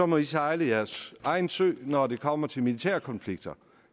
må de sejle deres egen sø når det kommer til militære konflikter